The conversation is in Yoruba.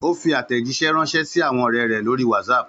Ó fi àtẹ̀jíṣẹ́ ránṣẹ́ sí àwọn ọ̀rẹ́ rẹ̀ lórí WhatsApp.